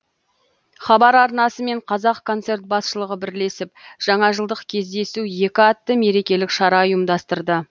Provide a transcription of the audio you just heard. хабар арнасы мен қазақконцерт басшылығы бірлесіп жаңа жылдық кездесу екі атты мерекелік шара ұйымдастырды